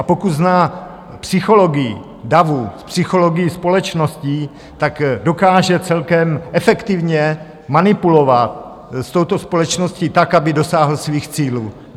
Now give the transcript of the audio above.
A pokud zná psychologii davu, psychologii společnosti, tak dokáže celkem efektivně manipulovat s touto společností tak, aby dosáhl svých cílů.